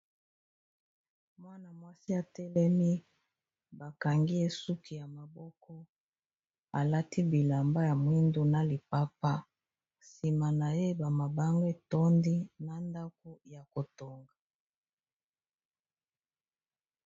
Mwana-mwasi atelemi bakangi ye esuki ya maboko alati bilamba ya mwindu na lipapa nsima na ye ba mabanga etondi na ndako ya kotonga.